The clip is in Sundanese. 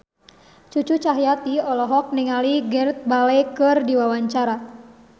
Cucu Cahyati olohok ningali Gareth Bale keur diwawancara